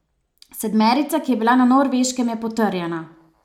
Sedmerica, ki je bila na Norveškem, je potrjena.